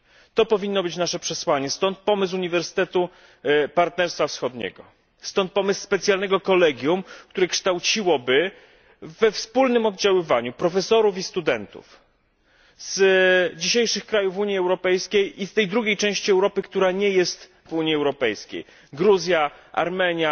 To powinno być naszym przesłaniem, stąd pomysł uniwersytetu Partnerstwa Wschodniego, stąd pomysł specjalnego kolegium, które kształciłoby we wspólnym oddziaływaniu profesorów istudentów zdzisiejszych krajów Unii Europejskiej iztej drugiej części Europy, która nie jest w Unii Europejskiej Gruzji, Armenii,